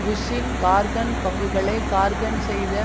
புஷ்ஷின் ஹார்க்கன் பங்குகளை ஹார்க்கன் செய்த